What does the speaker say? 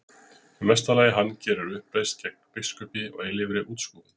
Í mesta lagi hann geri uppreisn gegn biskupi og eilífri útskúfun.